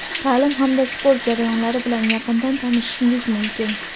taʼlim hamda sport jarayonlari bilan yaqindan tanishishingiz mumkin.